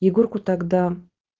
егорку тогда